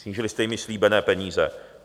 Snížili jste jim již slíbené peníze.